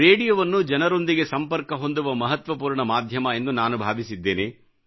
ರೇಡಿಯೋವನ್ನು ಜನರೊಂದಿಗೆ ಸಂಪರ್ಕ ಹೊಂದುವ ಮಹತ್ವಪೂರ್ಣ ಮಾಧ್ಯಮ ಎಂದು ನಾನು ಭಾವಿಸಿದ್ದೇನೆ